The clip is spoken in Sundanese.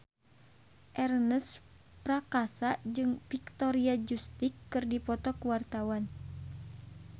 Ernest Prakasa jeung Victoria Justice keur dipoto ku wartawan